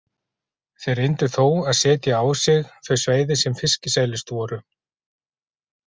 Þeir reyndu þó að setja á sig þau svæði sem fiskisælust voru.